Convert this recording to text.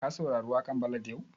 Ka saurari waƙan ballad yau?